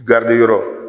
yɔrɔ